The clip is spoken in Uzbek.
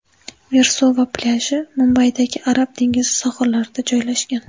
Versova plyaji Mumbaydagi Arab dengizi sohillarida joylashgan.